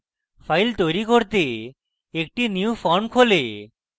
file তৈরী করতে একটি নতুন form খোলে